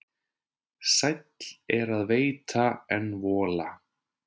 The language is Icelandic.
Sæll er að veita en vola.